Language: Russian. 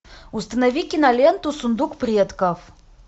установи киноленту сундук предков